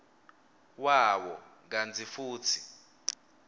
wawo kantsi futsi